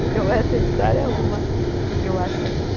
Então, essa história é uma que eu acho legal.